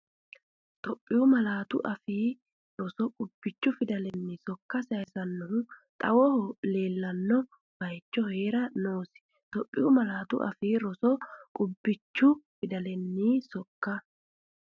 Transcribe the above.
Itophiyu Malaatu Afii Roso Qubbichu fidalenni sokka sayisannohu xawoho leellanno bayicho hee’ra noosi Itophiyu Malaatu Afii Roso Qubbichu fidalenni sokka.